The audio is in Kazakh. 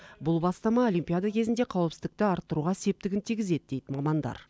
бұл бастама олимпиада кезінде қауіпсіздікті арттыруға септігін тигізеді дейді мамандар